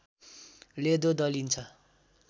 लेदो दलिन्छ